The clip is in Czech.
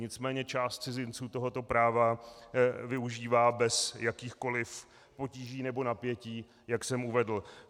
Nicméně část cizinců tohoto práva využívá bez jakýchkoliv potíží nebo napětí, jak jsem uvedl.